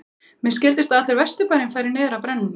Mér skildist að allur Vesturbærinn færi niður að brennunni.